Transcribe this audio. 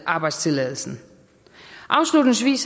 arbejdstilladelsen afslutningsvis